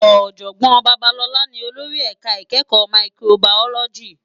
Òjògbòn Babalola ni ólórì èká ikèékò máìkróbáyólòjí